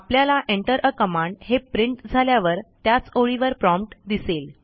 आपल्याला enter आ command हे प्रिंट झाल्यावर त्याच ओळीवर प्रॉम्प्ट दिसेल